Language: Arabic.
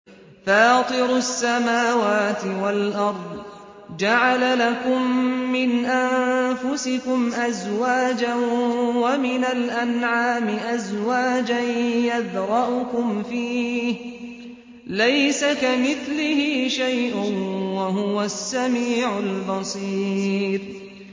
فَاطِرُ السَّمَاوَاتِ وَالْأَرْضِ ۚ جَعَلَ لَكُم مِّنْ أَنفُسِكُمْ أَزْوَاجًا وَمِنَ الْأَنْعَامِ أَزْوَاجًا ۖ يَذْرَؤُكُمْ فِيهِ ۚ لَيْسَ كَمِثْلِهِ شَيْءٌ ۖ وَهُوَ السَّمِيعُ الْبَصِيرُ